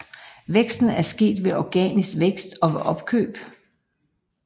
Væksten er sket ved organisk vækst og ved opkøb